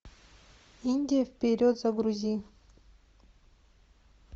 индия вперед загрузи